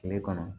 Kile kɔnɔ